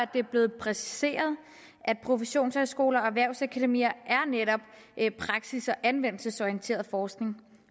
det er blevet præciseret at professionshøjskoler og erhvervsakademier netop har praksis og anvendelsesorienteret forskning